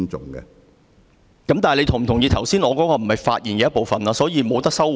主席，你是否同意，我剛才的話不是發言的一部分，所以無法收回？